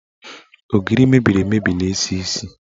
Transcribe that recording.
Ogiri mebiri emebi na-esi isi.